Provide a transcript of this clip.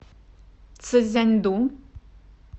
цзянду